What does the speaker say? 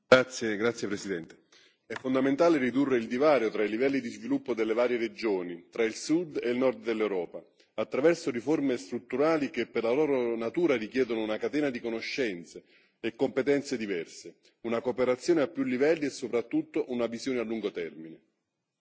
Signor Presidente, onorevoli colleghi, è fondamentale ridurre il divario tra i livelli di sviluppo delle varie regioni, tra il Sud e il Nord dell'Europa, attraverso riforme strutturali che, per la loro natura, richiedono una catena di conoscenze e competenze diverse, una cooperazione a più livelli e soprattutto una visione a lungo termine.